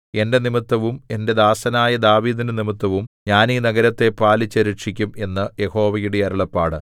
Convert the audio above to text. എന്റെ നിമിത്തവും എന്റെ ദാസനായ ദാവീദിന്റെ നിമിത്തവും ഞാൻ ഈ നഗരത്തെ പാലിച്ചു രക്ഷിക്കും എന്നു യഹോവയുടെ അരുളപ്പാട്